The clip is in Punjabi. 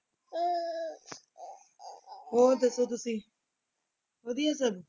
ਹੋਰ ਦੱਸੋ ਤੁਸੀਂ ਵਧੀਆ ਸਭ?